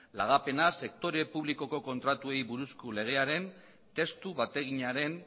lagapena sektore publikoko kontratuei buruzko legearen testu bateginaren